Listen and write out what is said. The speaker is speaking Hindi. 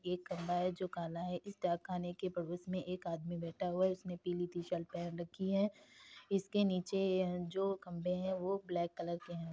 एक खम्बा है जो काला है इस डाक खाने के पड़ोस में एक आदमी बैठा हुआ है उसने पीली टीशर्ट पहन रखी है इसके नीचे जो खम्बे हैं वो ब्लैक कलर के हैं।